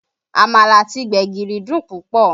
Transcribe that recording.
Àmàlà àti gbẹ̀gìrì dùn púpọ̀